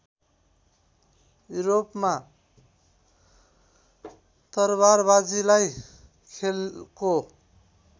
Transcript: युरोपमा तरवारबाजीलाई खेलको